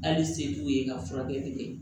Hali se t'u ye ka furakɛli kɛ